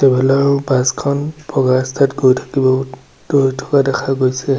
আগফালৰ বাছখন ভগা ৰাস্তাত গৈ থাকিব গৈ থকা দেখা গৈছে।